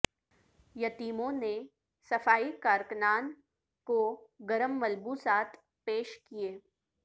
یتیموں نے صفائی کارکنان کو گرم ملبوسات پیش کئے